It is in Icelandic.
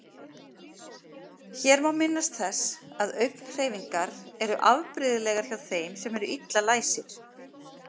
Hér má minnast þess að augnhreyfingar eru afbrigðilegar hjá þeim sem eru illa læsir.